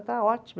Está ótimo.